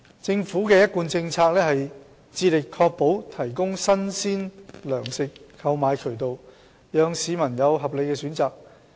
政府的一貫政策是致力確保提供新鮮糧食的購買渠道，讓市民有合理選擇。